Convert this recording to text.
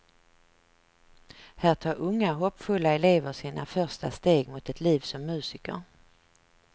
Här tar unga hoppfulla elever sina första steg mot ett liv som musiker.